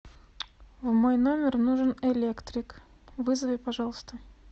в мой номер нужен электрик вызови пожалуйста